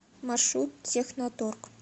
маршрут техноторг